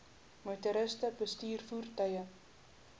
motoriste bestuur voertuie